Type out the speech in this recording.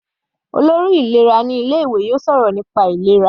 Olórí ìlera yóò sọ̀rọ̀ nípa ìlera.